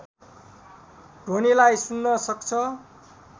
ध्वनिलाई सुन्न सक्छ